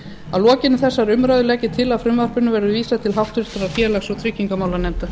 að lokinni þessari umræðu legg ég til að frumvarpinu verði vísað til háttvirtrar félags og tryggingamálanefndar